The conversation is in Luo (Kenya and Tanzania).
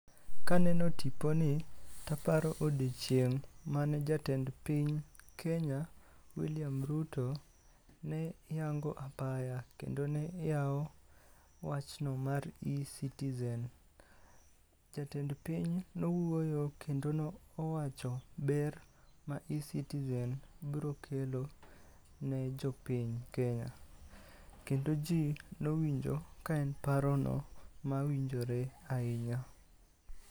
Kaneno tiponi, taparo odiochieng' mane jatend piny kenya William Ruto ne, yango apaya kendo neyao wachno mar ecitizen. jatend piny nowuoyo kendo no owacho ber ma ecitizen brokelo, ne jopiny kenya, kendo jii nowinjo ka en parono mawinjore ainya